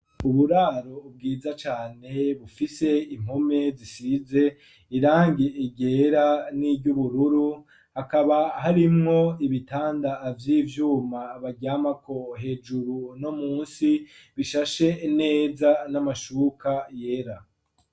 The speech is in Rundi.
Uburaro bwiza cane bufise impome zisize irangi ryera n'iry'ubururu hakaba harimwo ibitanda vy'ivyuma baryamako hejuru no munsi bishashe neza n'amashuka yera.